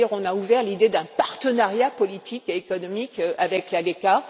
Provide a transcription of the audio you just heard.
C'est à dire qu'on a ouvert l'idée d'un partenariat politique et économique avec l'ALECA.